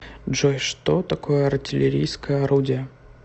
джой что такое артиллерийское орудие